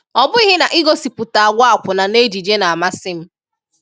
Ọ bụghị na igosipụta àgwà akwụ̀nà n’ejije na-amasị m.